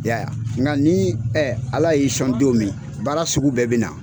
Yaya, nka ni a b'a don min na baara sugu bɛɛ bɛ na.